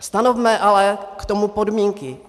Stanovme ale k tomu podmínky.